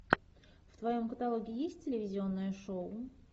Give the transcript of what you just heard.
в твоем каталоге есть телевизионное шоу